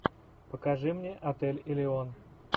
покажи мне отель элеон